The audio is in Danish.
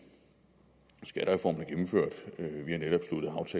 skattereformen